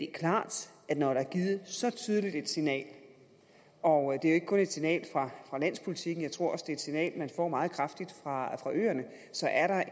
klart at når der er givet så tydeligt et signal og det er jo ikke kun et signal fra landspolitikken jeg tror også det er et signal man får meget kraftigt fra øerne så er der